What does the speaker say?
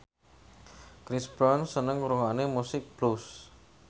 Chris Brown seneng ngrungokne musik blues